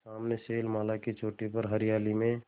सामने शैलमाला की चोटी पर हरियाली में